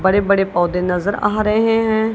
बड़े बड़े पौधे नजर आ रहे हैं।